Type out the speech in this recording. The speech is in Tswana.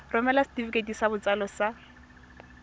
romela setefikeiti sa botsalo sa